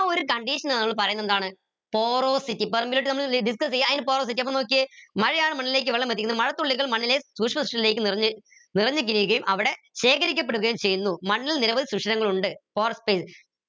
ആ ഒരു condition എ നമ്മൾ പറീന്നത് എന്താണ് porosity permeability നമ്മൾ discuss ഏയ അയിന്റെ porosity അപ്പൊ നോക്കിയേ മഴയാണ് മണ്ണിലേക്ക് വെള്ളം എത്തിക്കുന്നത് മഴത്തുള്ളികൾ മണ്ണിനെ നിറഞ്ഞ് അവിടെ ശേഖരിക്കപ്പെടുകയും ചെയ്യുന്നു മണ്ണിൽ നിരവധി ശുഷിരങ്ങൾ ഉണ്ട്